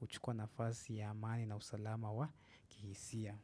uchukua nafasi ya amani na usalama wa kihisia.